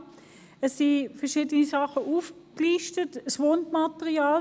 Es sind verschiedene Dinge aufgelistet, das Wundmaterial.